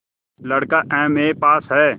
लड़का MA pass हैं